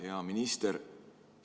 Hea minister!